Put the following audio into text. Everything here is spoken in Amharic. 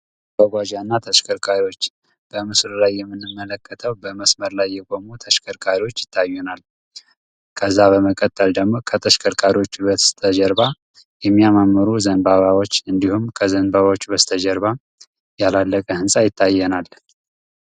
መጓጓዣ እና ተሽከርካሪዎች በምስሉ ላይ የምንመለከተው በመስመር ላይ የቆሙ ተሽከርካሪዎች ይታዩናል። ከዚያ በመቀጠል ደግሞ ከተሽከርካሪዎች በስተጀርባ የሚያማምሩ ዘንባባዎች እንዲሁም ከዘንባባዎች በስተጀርባ ያላለቀ ህንፃ ይታየናል።